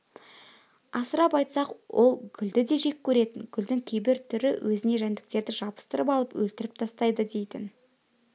асырып айтсақ ол гүлді де жек көретін гүлдің кейбір түрі өзіне жәндіктерді жабыстырып алып өлтіріп тастайды дейтін